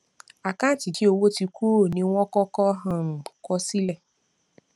àkáǹtì tí owó ti kúrò ní wọn kọkọ um kọ sile